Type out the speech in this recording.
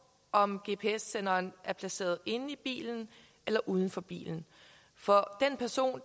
om gps senderen er placeret inde i bilen eller uden for bilen for den person